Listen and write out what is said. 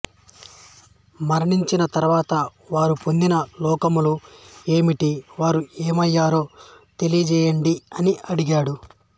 మరణించిన తరువాత వారు పొందిన లోకములు ఏమిటి వారు ఏమయ్యారో తెలియజేయండి అని అడిగాడు